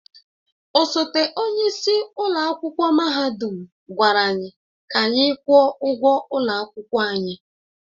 Osote onye isi ụlọ akwụkwọ mahadum gwara anyị ka anyị kwụọ ụgwọ ụlọ akwụkwọ anyị.